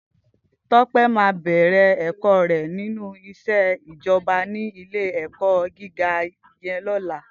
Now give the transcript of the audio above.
Tope má bèrè èkò rè ninú iṣé ijòbá ni ilé èkò gigá yèn lòlá